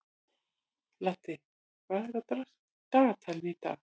Laddi, hvað er á dagatalinu í dag?